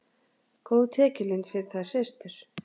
Góð tekjulind fyrir þær systur.